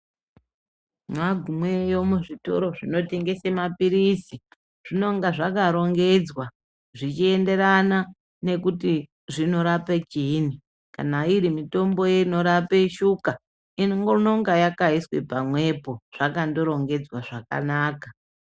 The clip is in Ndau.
Mwagumeyo muzvitoro zvinotengese maphirizi zvinenge zvakarongedzwa zvichienderana nekuti zvinorapa chiinyi kana iri mitombo inorapa shuka inenge yakandoiswa pamwepo zvakandorongedzwa zvakanaka.